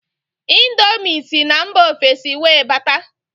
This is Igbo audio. índomi sí na mba ofesi wee bata.